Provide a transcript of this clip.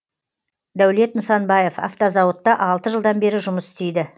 дәулет нысанбаев автозауытта алты жылдан бері жұмыс істейді